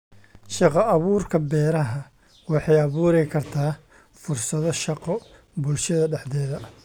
Shaqo-abuurka Beeraha waxay abuuri kartaa fursado shaqo bulshada dhexdeeda.